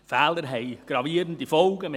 Fehler haben gravierende Folgen: